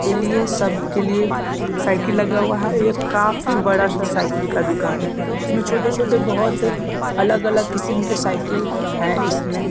के लिए सबके लिए साइकिल लगा हुआ है ये काफी बड़ा सा साइकिल का दुकान है इसमें छोटे-छोटे बहोत अलग-अलग किस्म के साइकिल है यहां पे।